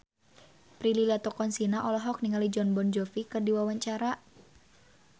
Prilly Latuconsina olohok ningali Jon Bon Jovi keur diwawancara